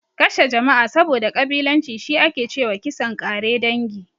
Kashe jama'a saboda ƙabilanci, shi ake ce wa kisan ƙare dangi.